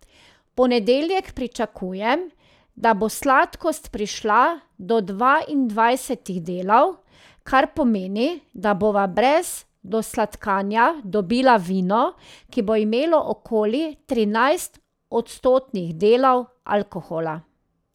V ponedeljek pričakujem, da bo sladkost prišla do dvaindvajsetih delov, kar pomeni, da bova brez dosladkanja dobila vino, ki bo imelo okoli trinajst odstotnih delov alkohola.